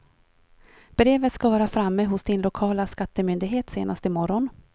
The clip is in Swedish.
Brevet ska vara framme hos din lokala skattemyndighet senast i morgon.